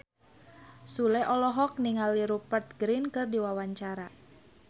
Sule olohok ningali Rupert Grin keur diwawancara